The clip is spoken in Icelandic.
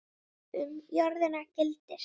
Um jörðina gildir